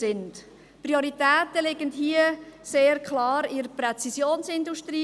Die Prioritäten liegen hier sehr klar bei der Präzisionsindustrie;